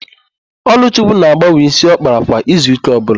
Ọlụchukwu na-agbanwe ísí ọ kpara kwa izuụ́kà ọbụla.